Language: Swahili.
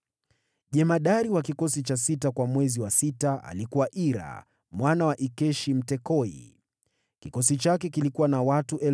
Jemadari wa kikosi cha sita kwa mwezi wa sita alikuwa Ira, mwana wa Ikeshi Mtekoa. Kikosi chake kilikuwa na watu 24,000.